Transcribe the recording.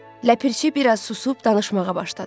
Ləpirçi biraz susub danışmağa başladı.